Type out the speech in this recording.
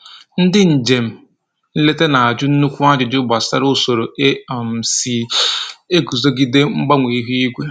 Ndị njem nleta na-ajụ nnukwu ajụjụ gbasara usoro e um si eguzogide mgbanwe ihu igwe